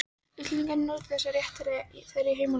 Íslendingar njóti þessa réttar í þeirra heimalöndum.